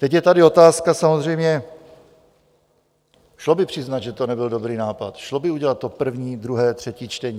Teď je tady otázka samozřejmě, šlo by přiznat, že to nebyl dobrý nápad, šlo by udělat to první, druhé, třetí čtení?